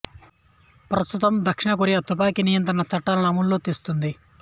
ప్రస్తుతం దక్షిణ కొరియా తుపాకి నియంత్రిత చట్టాలను అమలు చేస్తుంది